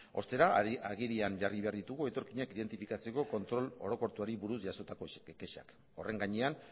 ostera agerian jarri behar ditugu etorkinak identifikatzeko kontrol orokortuari buruz jasotako kexak horren gainean